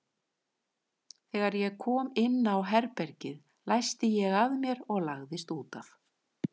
Þegar ég kom inn á herbergið læsti ég að mér og lagðist út af.